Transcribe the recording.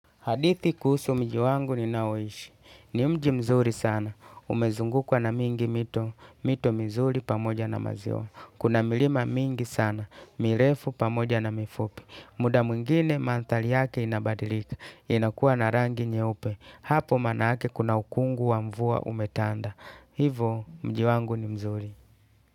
Hadithi kuhusu mji wangu ninaoishi. Ni mji mzuri sana. Umezungukwa na mingi mito. Mito mizuri pamoja na maziwa. Kuna milima mingi sana. Mirefu pamoja na mifupi. Muda mwingine mandhari yake inabadilika. Inakuwa na rangi nyeupe. Hapo maana ake kuna ukungu wa mvua umetanda. Hivo mji wangu ni mzuri.